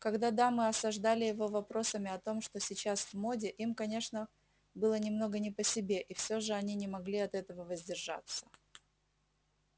когда дамы осаждали его вопросами о том что сейчас в моде им конечно было немного не по себе и все же они не могли от этого воздержаться